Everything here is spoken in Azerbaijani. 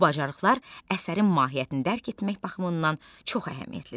Bu bacarıqlar əsərin mahiyyətini dərk etmək baxımından çox əhəmiyyətlidir.